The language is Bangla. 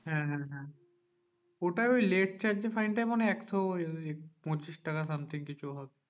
হ্যাঁ হ্যাঁ হ্যাঁ ওটা ওই late charge fine টা মনে হয় একশো ওই পঁচিশ টাকা something কিছু হবে